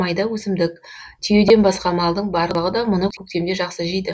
майда өсімдік түйеден басқа малдың барлығы да мұны көктемде жақсы жейді